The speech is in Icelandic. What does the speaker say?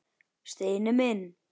Steini minn.